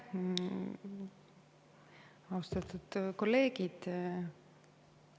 Austatud kolleegid!